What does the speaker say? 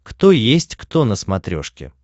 кто есть кто на смотрешке